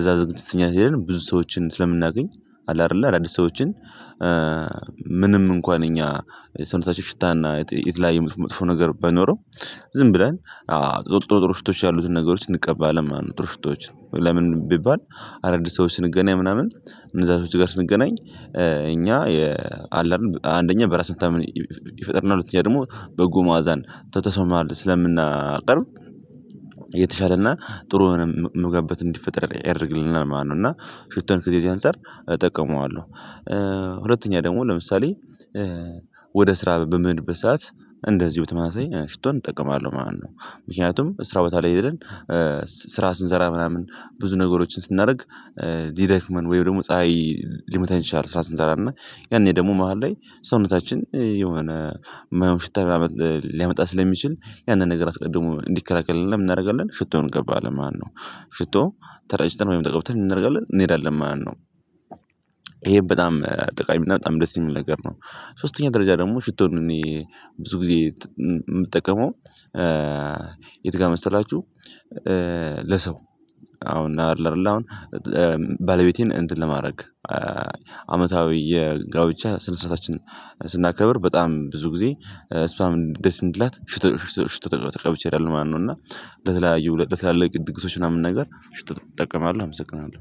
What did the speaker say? እዛ ዝግጅት እኛ ሄደን ብዙ ሰዎችን ስለምናገኝ አለ አይደለ አዳዲስ ሰዎችን ምንም እንኳን እኛ የሰውነታችን ሽታና የተለያየ መጥፎ ነገር ባይኖረው ዝም ብለን ጥሩ ጥሩ ሽቶች ያሉትን ነገሮች እንቀባለን ማለት ነው ጥሩ ሽቶወችን ለምን ቢባል አዳዲስ ሰዎች ስንገናኝ ምናምን እነዛ ሰዎች ጋር ስንገናኝ እኛ አለ አይደል አንደኛ በራስ መታመን ይፈጥርናል ሁለተኛ ደግሞ በጎ ማዕዛን ከ ሰው መሃል ስለምናቀርብ የተሻለና ጥሩ ሆኖ ምንገባበት እንዲፈጠር ያደርግልናል ማለት ነው እና ሽቶን ከዚህ አንፃር እጠቀመዋለሁ ሁለተኛ ደግሞ ለምሳሌ ወደ ስራ በምሄድበት ሰዓት እንደዚሁ በተመሳሳይ ሽቶን እጠቀማለሁ ማለት ነው ምክንያቱም ስራ ቦታ ላይ ሄደን ስራ ስንሰራ ምናምን ብዙ ነገሮችን ስናደርግ ሊደክመን ወይም ደግሞ ፀሀይ ሊመታን ይችላል ስራ ስንሰራ እና ያኔ ደግሞ መሃል ላይ ሰውነታችን የሆነ የማይሆን ሽታ ሊያመጣ ስለሚችል ያንን ነገር አስቀድሞ እንዲከላከልልን ምን እናደርጋለን ሽቶ ማለት ነው ሽቶ ተረጭተን ወይም ተቀብተህ ምን እናደርጋለን እንሄዳለን ማለት ነው ይሄ በጣም ጠቃሚ እና በጣም ደስ የሚል ነገር ነው ሶስተኛ ደረጃ ደግሞ ሽቶን እኔ ብዙ ጊዜ የምጠቀመው የት ጋር መሰላችሁ ለሰው አሁን አለ አይደለ አሁን ባለቤቴን እንትን ለማድረግ አመታዊ የጋብቻ ስነ ስርዓታችንን ስናከብር በጣም ብዙ ጊዜ እሷም ደስ እንዲላትሽቶ ሽቶ ተገብቼ አይደለም ማነው እና ለተለያዩ ለተለያዩ ድግሶች ምናምን ነገር ሽቶ ተጠቅመዋለሁ አመሰግናለሁ